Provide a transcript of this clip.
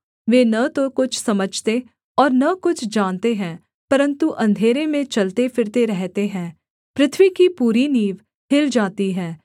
वे न तो कुछ समझते और न कुछ जानते हैं परन्तु अंधेरे में चलते फिरते रहते हैं पृथ्वी की पूरी नींव हिल जाती है